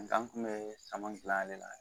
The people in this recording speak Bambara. Nga an kun be saman gilan ale la